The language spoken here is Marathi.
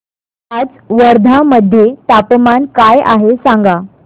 आज वर्धा मध्ये तापमान काय आहे सांगा